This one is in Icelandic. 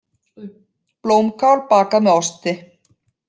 Blómkál bakað með osti